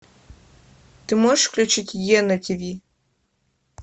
ты можешь включить е на тв